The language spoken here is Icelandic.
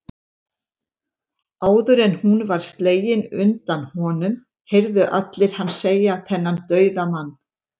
Áður en hún var slegin undan honum, heyrðu allir hann segja, þennan dauðamann